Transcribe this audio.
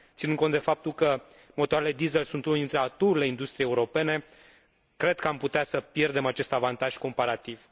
Ținând cont de faptul că motoarele diesel sunt unele dintre atuurile industriei europene cred că am putea să pierdem acest avantaj comparativ.